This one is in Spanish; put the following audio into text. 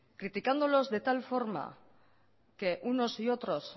criticándolos de tal forma que unos y otros